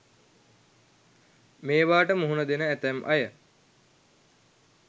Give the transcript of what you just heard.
මේවාට මුහුණ දෙන ඇතැම් අය